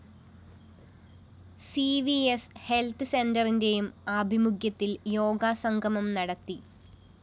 C V S health സെന്ററിന്റെയും ആഭിമുഖ്യത്തില്‍ യോഗ സംഗമം നടത്തി